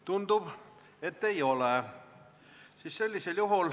Tundub, et ei ole.